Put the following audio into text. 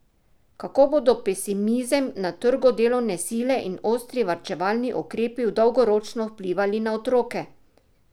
Kako bodo pesimizem na trgu delovne sile in ostri varčevalni ukrepi dolgoročno vplivali na otroke?